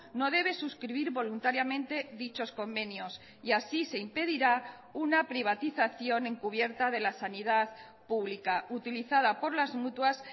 no debe suscribir voluntariamente dichos convenios y así se impedirá una privatización encubierta de la sanidad pública utilizada por las mutuas